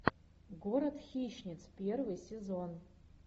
город хищниц первый сезон